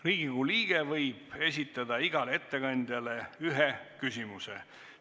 Riigikogu liige võib esitada igale ettekandjale ühe küsimuse.